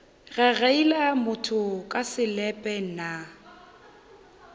gagaila motho ka selepe nna